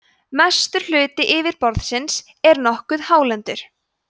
mestur hluti yfirborðsins er nokkuð hálendur